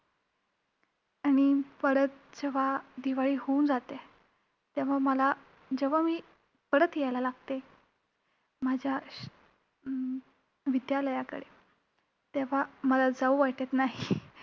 आणि परत जेव्हा दिवाळी होऊन जाते, तेव्हा मला~ जेव्हा मी परत यायला लागते, माझ्या अं विद्यालयाकडे, तेव्हा मला जाऊ वाटत नाही.